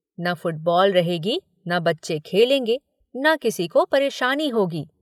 न फुटबॉल रहेगी, न बच्चे खेलेंगे, न किसी को परेशानी होगी।